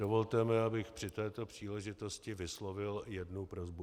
Dovolte mi, abych při této příležitosti vyslovil jednu prosbu.